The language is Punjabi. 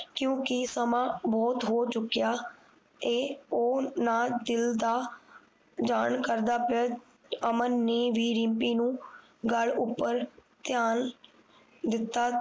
ਕਿਉਕਿ ਸਮਾਂ ਬੋਹੋਤ ਹੋ ਚੁਕਿਆ ਇਹ ਓਹਨਾ ਦਿਲ ਦਾ ਜਾਨ ਕੱਢਦਾ ਪਿਆ ਅਮਨ ਨੇ ਰਿਮਪੀ ਨੂੰ ਗਲ਼ ਉਪਰ ਚਲ ਦਿੱਤਾ